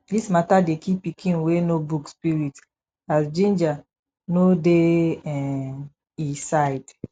dis mata dey kill pikin wey know book spirit as ginger no dey um e side